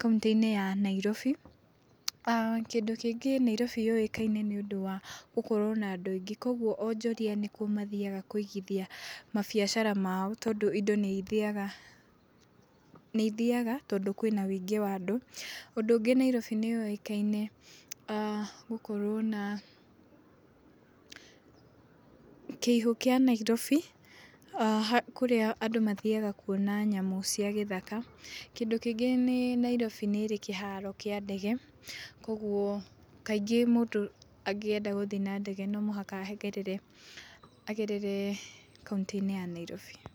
kauntĩ-inĩ ya Nairobi. Kĩndũ kĩngĩ wabici ya Nairobi yũĩkaine nakĩo nĩ ũndũ wa gũkorwo na andũ aingĩ kũoguo onjoria ĩkuo mathiaga kũigithia mabiacara mao tondũ indo nĩ ithiaga tondũ kwĩna ũingĩ wa andũ. Ũndũ ũngĩ Nairobi nĩ yũĩkaine gũkorwo na kĩugũ kĩa Nairobi kũrĩa andũ mathiaga kuona nyamũ cia gĩthaka . Kĩndũ kĩngĩ Nairobi nĩrĩ kĩharo kĩa ndege koguo kaingĩ mũndũ angĩenda gũthi na ndege no mũhaka agerere kauntĩ-inĩ ya Nairobi.